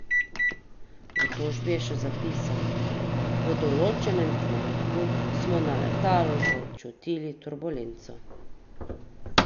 V tožbi je še zapisal: "V določenem trenutku smo na letalu začutili turbolenco.